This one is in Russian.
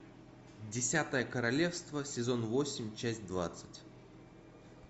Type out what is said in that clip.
десятое королевство сезон восемь часть двадцать